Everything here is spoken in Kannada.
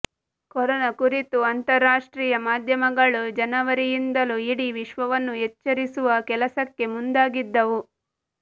ಕೊರೋನಾ ಕುರಿತು ಅಂತಾರಾಷ್ಟ್ರೀಯ ಮಾಧ್ಯಮಗಳು ಜನವರಿಯಿಂದಲೂ ಇಡೀ ವಿಶ್ವವನ್ನು ಎಚ್ಚರಿಸುವ ಕೆಲಸಕ್ಕೆ ಮುಂದಾಗಿದ್ದವು